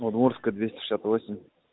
удмуртская двести шестьдесят восеь